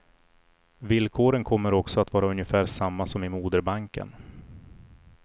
Villkoren kommer också att vara ungefär samma som i moderbanken.